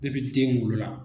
den wolola.